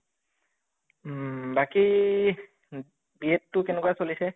উম বাকী ই B Ed টো কেনেকুৱা চলিছে?